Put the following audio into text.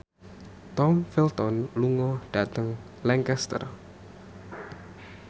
Tom Felton lunga dhateng Lancaster